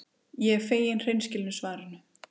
Ég er fegin hreinskilnu svarinu.